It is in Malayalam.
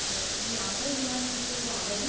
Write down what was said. ഈ യാത്ര ചെയ്യാൻ വെണ്ടിയിട്ട് ഉള്ള ഒരവധി